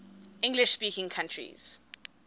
english speaking countries